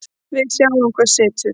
Við sjáum hvað setur